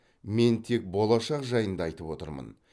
мен тек болашақ жайында айтып отырмын